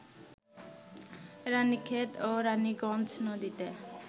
রাণীক্ষেত ও রাণীগঞ্জ নদীতে